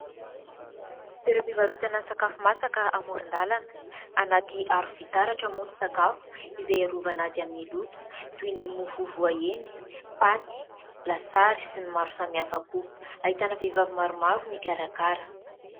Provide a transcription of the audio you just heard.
Toeram-pivarotana sakafo masaka amoron-dalana. Anaty aro-fitaratra moa ny sakafo izay hiarovana azy amin'ny loto, toy ny mofo voaendy, paty, lasary sy ny maro samy hafa koa. Ahitana vehivavy maromaro mikarakara.